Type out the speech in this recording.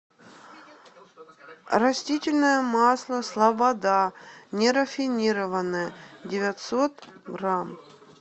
растительное масло слобода нерафинированное девятьсот грамм